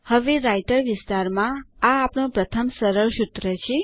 અને રાઈટર વિસ્તારમાં આ આપણું પ્રથમ સરળ સૂત્ર છે